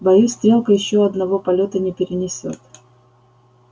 боюсь стрелка ещё одного полёта не перенесёт